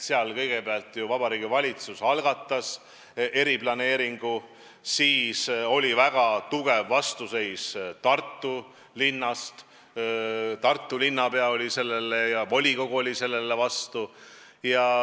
Seal kõigepealt Vabariigi Valitsus algatas eriplaneeringu, millele oli väga tugev vastuseis Tartu linnast: Tartu linnapea oli vastu ja volikogu oli vastu.